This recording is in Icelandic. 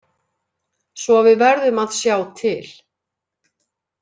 Svo við verðum að sjá til.